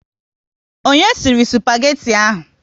Onye sịrị spageti ahụ?